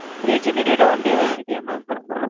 three GB data, one day validity யா mam